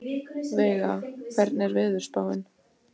Veiga, hvernig er veðurspáin?